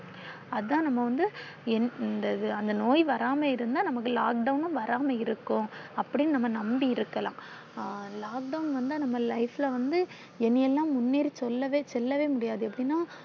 அதான் நாம வந்து இந்த இது அந்த நோய் வராம இருந்தா நமக்கு lockdown ம் வராம இருக்கும் அப்படின்னு நாம நம்பி இருக்கலாம். lockdown வந்தா நம்ம life ல வந்து இனி எல்லாம் முன்னேறி செல்லவே செல்லவே முடியாது. எப்பிடினா